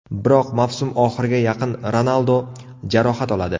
Biroq mavsum oxiriga yaqin Ronaldo jarohat oladi.